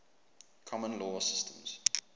common law systems